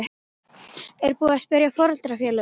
Er búið að spyrja foreldrafélögin?